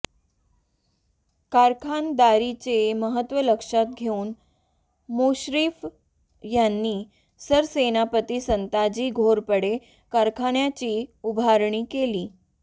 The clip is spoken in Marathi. कारखानदारीचे महत्त्व लक्षात घेऊन मुश्रीफ यांनी सरसेनापती संताजी घोरपडे कारखान्याची उभारणी केली